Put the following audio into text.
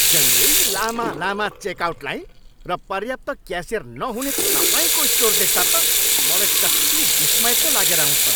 जहिल्यै लामा लामा चेकआउट लाइन र पर्याप्त क्यासियर नहुने तपाईँको स्टोर देख्दा त मलाई कत्ति विस्मय पो लागेर आउँछ।